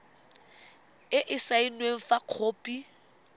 e e saenweng fa khopi